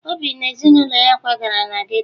Obi na ezinụlọ ya kwagara na geto